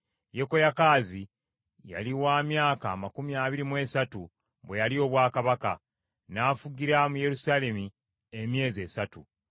Yekoyakaazi yali wa myaka amakumi abiri mu esatu bwe yalya obwakabaka, n’afugira mu Yerusaalemi emyezi esatu.